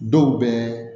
Dɔw bɛ